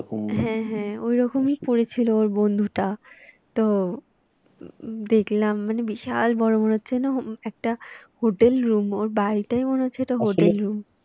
হ্যাঁ হ্যাঁ ওই রকমই পড়েছিল ওর বন্ধুটা তো দেখলাম মানে বিশাল বড়ো মনে হচ্ছে যেন একটা hotel room ওর বাড়িটাই মনে হচ্ছে hotel room